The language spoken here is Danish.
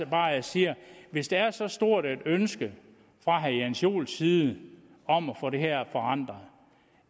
bare jeg siger at hvis der er så stort et ønske fra herre jens joels side om at få det her forandret